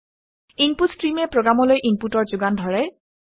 input ষ্ট্ৰীমে প্ৰগামলৈ ইনপুটৰ যোগান ধৰে